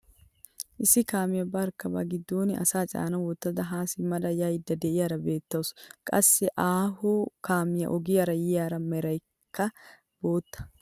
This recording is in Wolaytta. Issi kaamiyaa barkka ba giddon asaa caana wottada haa simmada yaydda de'iyaara beettawus. qassi aaho kaamiyaa ogiyaara yiyaara merankka bootta.